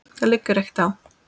Það liggur ekkert á.